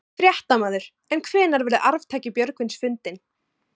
Fréttamaður: En hvenær verður arftaki Björgvins fundinn?